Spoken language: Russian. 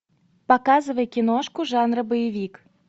показывай киношку жанра боевик